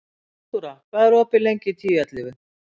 Náttúra, hvað er opið lengi í Tíu ellefu?